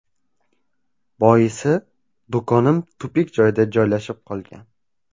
Boisi, do‘konim tupik joyda joylashib qolgan.